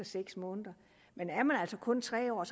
seks måneder men er man kun tre år og